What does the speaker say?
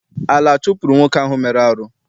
Ala chụpụrụ nwoke ahụ mere arụ.